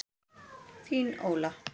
Þín, Óla.